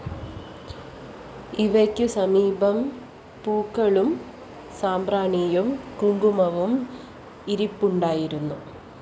ഇവയ്ക്കു സമീപം പൂക്കളും സാമ്പ്രാണിയും കുങ്കുമവും ഇരിപ്പുണ്ടായിരുന്നു